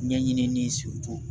Ɲɛɲinini